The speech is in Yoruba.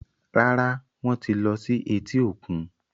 Rárá, Wọ́n ti lọ sí etí-òkun